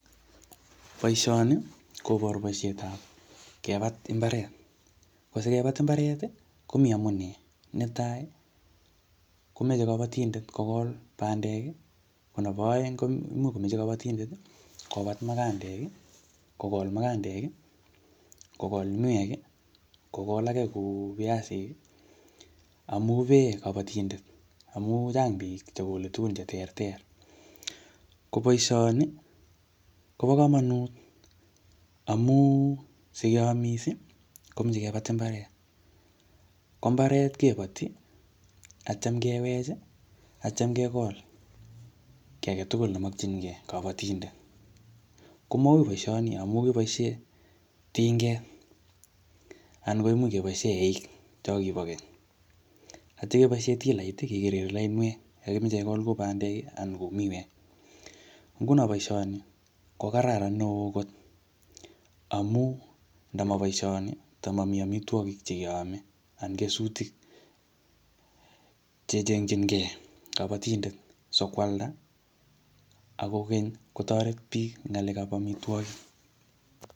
Boisoni koboru boisetab kebat mbaret. Ko sikebat mbaret, komi amunee. Netai, komeche kabatindet kogol bandek. Ko nebo aeng, koimuch kabatindet kobat mugandek, kogol mugandek, kogol miwek, kogol age kou oiasik, amu pee kabatindet. Amu chang biik chegole tugun che ter ter. Ko boisoni, kobo komonut, amu sikeamis, komeche kebat mbaret. Ko mbaret kebati, atyam kewech, atyam kegol kiy age tugul nemakchinkey kabatindet. Ko maui boisoni amu kiboisie tinget, anan koimuch keboisie eik cho kibo keny, atya keboisie tilait kekekeri lainwek yo kimeche kegol ku bandek anan kou miwek. Nguno boisoni, ko kararan neoo kot amu, ndama boisoni, tamami amitwogik che keame, anan kesutik che chengchinkey kabatindet sokwalda. Ak kokeny, kotoret biik ngalekab amitwogik.